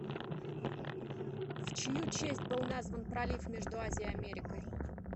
в чью честь был назван пролив между азией и америкой